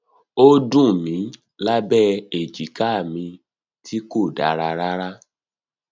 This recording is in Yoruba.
ó dunni lábẹ abẹ èjìká mi tí kò dára rárá